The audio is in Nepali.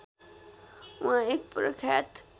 उहाँ एक प्रख्यात